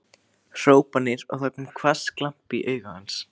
hrópanir og það kom hvass glampi í augu hans.